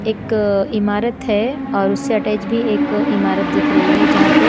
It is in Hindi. एक इमारत है और उससे अटैच भी एक इमारत दिख रही है जहां पे--